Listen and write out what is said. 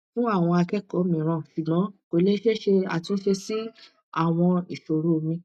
fun awon akoko miran sugbon ko le se atunse si awon isoromi